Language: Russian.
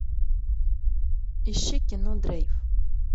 ищи кино дрейф